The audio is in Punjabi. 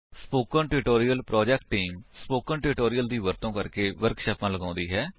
spoken tutorial project team spoken tutorial ਦਾ ਵਰਤੋ ਕਰਕੇ ਵਰਕਸ਼ਾਪਾਂ ਲਗਾਉਂਦੀ ਹੈ